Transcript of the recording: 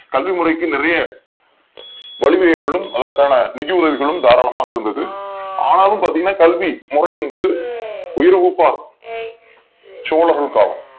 தமிழ் மொழிக்கு நிறைய வழிமுறைகளும் அதற்கான நிதி உதவிகளும் தாராளமாக இருந்தது ஆனாலும் பாத்தீங்கன்னா கல்வி முறை என்பது உயர்வகுப்பார் சோழர்கள் காலம்